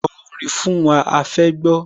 Ko orin fún wa, a fẹ́ gbọ́